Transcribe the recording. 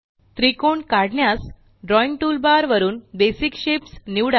त्रिकोण काढण्यास drawing toolbar वरून बेसिक शेप्स निवडा